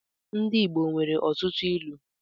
Ndị igbo nwere ọtụtụ ịlu